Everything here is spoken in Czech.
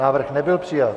Návrh nebyl přijat.